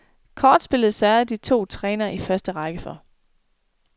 Kortspillet sørgede de to trænere i første række for.